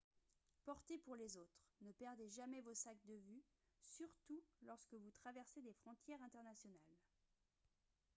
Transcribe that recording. porter pour les autres ne perdez jamais vos sacs de vue surtout lorsque vous traversez des frontières internationales